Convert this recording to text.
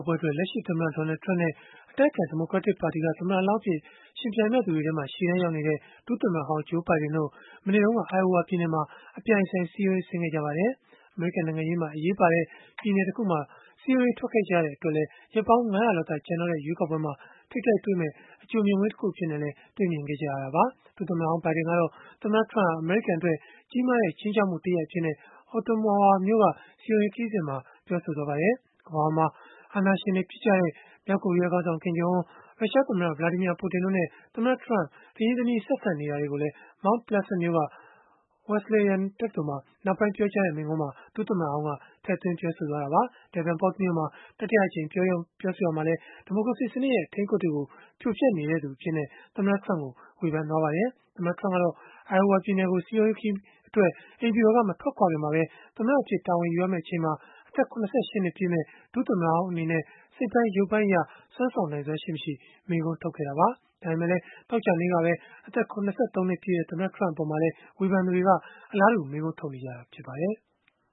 ပွဲအတွက် လက်ရှိသမ္မတ Donald Trump နဲ့ အတိုက်အခံ ဒီမိုကရက်တစ်ပါတီက သမ္မတလောင်း အဖြစ် ယှဉ်ပြိုင်မယ့်သူတွေထဲမှာ ရှေ့တန်းရောက်နေတဲ့ ဒုသမ္မတဟောင်း Joe Biden တို့ မနေ့တုန်းက Iowa ပြည်နယ်မှာ အပြိုင်အဆိုင် စည်းရုံးရေးဆင်းခဲ့ကြပါတယ်။ အမေရိကန် နိုင်ငံရေးမှာ အရေးပါတဲ့ ပြည်နယ်တခုမှာ စည်းရုံးရေး ထွက်ခဲ့ကြတဲ့ အတွက်လည်း ရက်ပေါင်း ၅၀၀ လောက်သာ ကျန်တော့တဲ့ ရွေးကောက်ပွဲမှာ ထိပ်တိုက်တွေ့မယ့် အကြိုမြင်ကွင်းတခုအဖြစ်နဲ့လည်း တေ့ွခဲ့ကြရတာပါ။ ဒုသမ္မတဟောင်း Biden ကတော့ သမ္မတ Trump ဟာ အမေရိကန်အတွက် ကြီးမားတဲ့ ခြိမ်းခြောက်မှု တရပ်အဖြစ် Ottumwa မြို့က စည်းရုံးရေးခရီးစဉ်မှာ ပြောသွားပါတယ်။ ကမ္ဘာပေါ်မှာ အာဏာရှင်တွေ ဖြစ်ကြတဲ့ မြောက်ကိုရီးယားခေါင်းဆောင် Kim Jong Un ရုရှားသမ္မတ Vladimir Putin တို့နဲ့ သမ္မတ Trump တရင်းတနှီး ဆက်ဆံနေတာတွေ ကိုလည်း Mount Pleasant မြို့က Wesleyan တက္ကသိုလ်မှာ နောက်ပိုင်းပြောတဲ့ မိန့်ခွန်းမှာ ဒုသမ္မတဟောင်းက ထည့်သွင်းပြောဆိုခဲ့တာပါ။ Davenport မြို့မှာ တတိယအကြိမ် ပြောဆိုရာမှာလည်း ဒီမိုကရေစီစနစ်ရဲ့ အထိန်းအကွပ်တွေကို ဖြိုဖျက်နေသူအဖြစ် သမ္မတ Trump ကို ဝေဖန်သွားခဲ့ပါတယ်။ သမ္မတ Trump ကတော့ Iowa ပြည်နယ်ကို စည်းရုံးရေးခရီးအတွက် အိမ်ဖြူတော်က မထွက်ခွာခင်မှာပဲ သမ္မတအဖြစ် တာဝန်ယူရမယ့် အချိန်မှာ အသက် ၇၈ နှစ်ပြည့်မယ့် ဒုသမ္မတဟောင်း အနေနဲ့ စိတ်ပိုင်း၊ ရုပ်ပိုင်းအရ စွမ်းဆောင်နိုင်စွမ်း ရှိမရှိ မေးခွန်း ထုတ်ခဲ့တာပါ။ ဒါပေမဲ့လည်း သောကြာနေ့ကပဲ အသက် ၇၃ နှစ်ပြည့်တဲ့ သမ္မတ Trump အပေါ်မှာလည်း ဝေဖန်သူတွေက အလားတူမေးခွန်းထုတ်နေကြတာ ဖြစ်ပါတယ်။